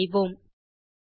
Enter செய்வோம்